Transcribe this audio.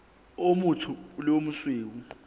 o motsho le o mosweu